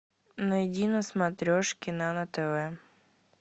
найди на смотрешке нано тв